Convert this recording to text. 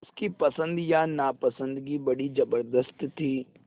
उसकी पसंद या नापसंदगी बड़ी ज़बरदस्त थी